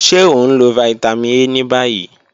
Ṣe o nlo Vitamin A ni bayi?